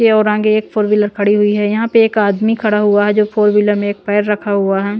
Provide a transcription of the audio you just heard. ये और आगे एक फोर व्हीलर खड़ी हुई है यहाँ पे एक आदमी खड़ा हुआ है जो फोर व्हीलर में एक पैर रखा हुआ है।